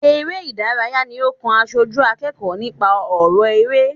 Eré ìdárayá ní ó kàn aṣojú akẹ́kọ̀ọ́ nípa ọrọ eré.